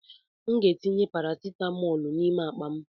M ga-etinye parasitamọlu n'ime akpa m.